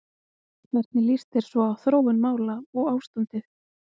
Hvernig líst þér svo á þróun mála og ástandið?